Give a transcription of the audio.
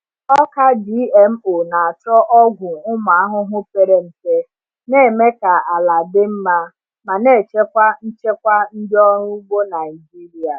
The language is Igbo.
Ọka GMO na-achọ ọgwụ ụmụ ahụhụ pere mpe, na-eme ka ala dị mma ma na-echekwa nchekwa ndị ọrụ ugbo Naijiria.